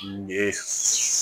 Ne